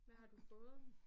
Hvad har du fået?